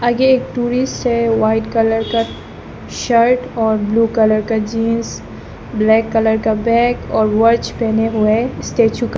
ये एक टूरिस्ट है वाइट कलर का शर्ट और ब्लू कलर का जींस ब्लैक कलर का बैग और वॉच पहने हुए स्टैचू का--